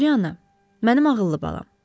Polyana, mənim ağıllı balam.